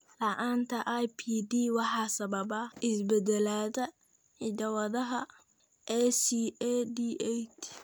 La'aanta IBD waxaa sababa isbeddellada hidda-wadaha ACAD8.